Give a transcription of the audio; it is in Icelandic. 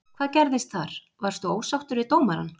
Hvað gerðist þar, varstu ósáttur við dómarann?